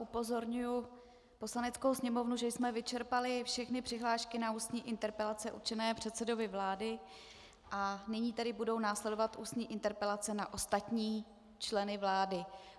Upozorňuji Poslaneckou sněmovnu, že jsme vyčerpali všechny přihlášky na ústní interpelace určené předsedovi vlády, a nyní tedy budou následovat ústní interpelace na ostatní členy vlády.